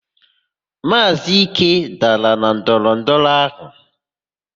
Maazị Ike dara na ndọrọndọrọ áhụ̀.